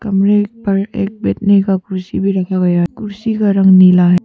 कमरे पर एक बैठने का कुर्सी भी रखा हुआ है। कुर्सी का रंग नीला है।